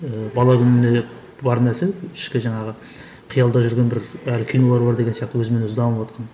ыыы бала күнімнен бар нәрсе ішкі жаңағы қиялда жүрген бір әлі кинолар бар деген сияқты өзімен өзі дамыватқан